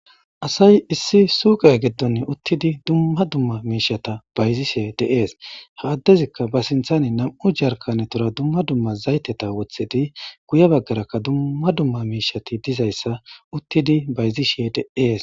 asay issi suuqay geddon uttidi dumma dumma miishata bayzishshe de'ees ha addezikka ba siinththani nam'u jarkanetura dumma dumma zaytetta woththidi guye baggarakka dumma dumma miishshati dizayssa uttidi bayzishshe de'ees